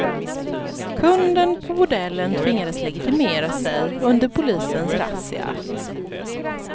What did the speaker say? Kunden på bordellen tvingas legitimera sig under polisens razzia.